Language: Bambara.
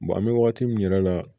an bɛ wagati min yɛrɛ la